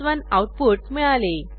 1 output मिळाले